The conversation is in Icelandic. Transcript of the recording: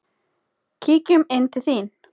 Kíkjum inn til þín